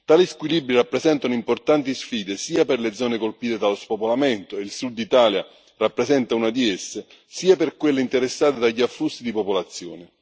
Tali squilibri rappresentano importanti sfide sia per le zone colpite dallo spopolamento, e il Sud Italia rappresenta una di esse, sia per quelle interessate dagli afflussi di popolazione.